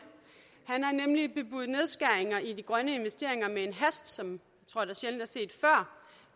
han har nemlig bebudet nedskæringer i de grønne investeringer i en hast som